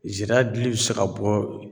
Zira dili bɛ se ka bɔ